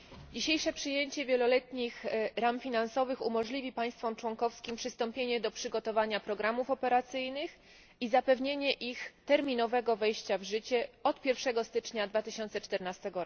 Dzisiejsze przyjęcie wieloletnich ram finansowych umożliwi państwom członkowskim przystąpienie do przygotowania programów operacyjnych i zapewnienie ich terminowego wejścia w życie od 1 stycznia 2014